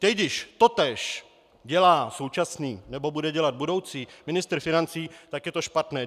Teď, když totéž dělá současný nebo bude dělat budoucí ministr financí, tak je to špatné.